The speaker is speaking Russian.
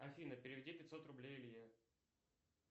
афина переведи пятьсот рублей илье